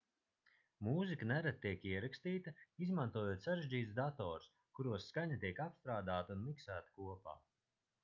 mūzika nereti tiek ierakstīta izmantojot sarežģītus datorus kuros skaņa tiek apstrādāta un miksēta kopā